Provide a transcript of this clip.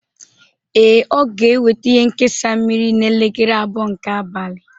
Ee, Ọ ga-eweta ihe nkesa mmiri n'elekere abụọ nke abalị